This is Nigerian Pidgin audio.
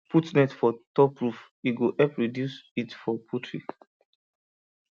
put net for net for top roof e go help reduce heat for poultry